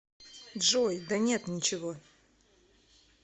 джой да нет ничего